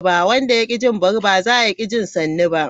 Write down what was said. Wanda ya ki jin bari, ba zaya ki jin sannu ba.